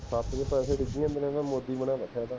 ਹੱਥ ਚ ਪੈਸੇ ਪੁੱਜੀ ਜਾਂਦੇ ਹੈ ਨਾ ਮੋਦੀ ਬਣਿਆ ਬੈਠਾ ਥਾ